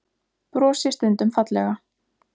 Brosi stundum fallega.